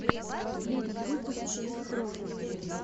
последний выпуск дестрой